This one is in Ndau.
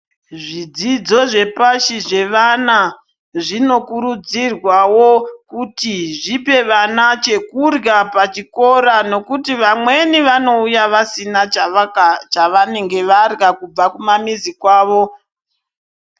Zvidzidzo zvepashi zvevana, zvinokurudzirwawo kuti zvipe vana chekurya pachikora, nokuti vamweni vanouya vasina chavaka chavanenge varya kubva kumamizi kwavo.